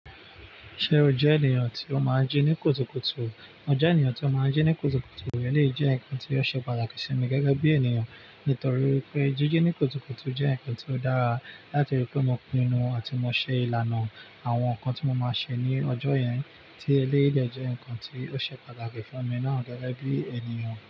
Ṣé o jẹ́ ènìyàn tí ó máa ń jí ní kùtùkùtù? Mo jẹ́ ènìyàn tí ó máa ń jí ní kùtùkùtù, eleyi jẹ́ ǹkan tí ó ṣe pàtàkì sí mi gẹ́gẹ́ bí ènìyàn. Nítorí pé jíjí ní kùtùkùtù jẹ́ ǹkan tí ó dára, látiri pé mo pinnu àti mo ṣe ìlànà àwọn ǹkan tí mo máa ṣe ní ọjọ́ yẹn. Tí eléyi de jẹ́ ǹkan tí ó ṣe pàtàkì fún mi náà, gẹ́gẹ́ bí ènìyàn.